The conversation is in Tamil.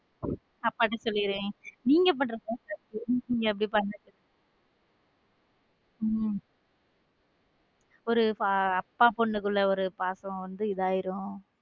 அப்பாட்ட சொல்லிடுவேன் நீங்க பண்றதும் தப்பு அப்படி பண்ணாதீங்க உம் ஒரு அப்பா பொண்ணுக்குள்ள பாசம் வந்து இது ஆயிடும்.